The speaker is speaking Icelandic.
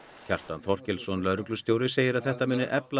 Kjartan Þorkelsson lögreglustjóri segir að þetta muni efla